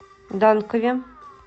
данкове